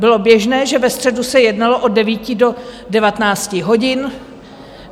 Bylo běžné, že ve středu se jednalo od 9 do 19 hodin.